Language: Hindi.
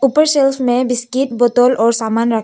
ऊपर सेल्स में बिस्किट बोतल और सामान रखें--